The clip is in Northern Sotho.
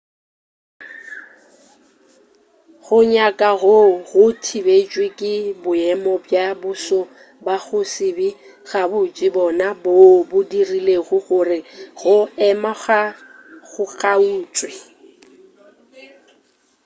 go nyaka goo go thibetšwe ke boemo bja boso ba go se be gabotse bona boo bo dirilego gore go ema go kgaotšwe